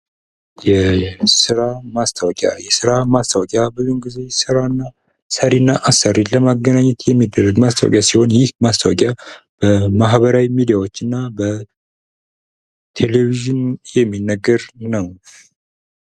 የስራ ማስታወቂያ የስራ ማስታውቂያ ብዙውን ጊዜ ሥራ ሰሪ እና አሰሪን ለማገናኘት የሚደረግ ማስታወቂያ ሲሆን ይህ ማስታወቂያ በማህበራዊ ሚዲያዎች እና ቴሌቭዥን የሚነገር ነው::